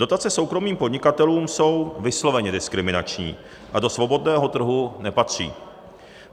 Dotace soukromým podnikatelům jsou vysloveně diskriminační a do svobodného trhu nepatří.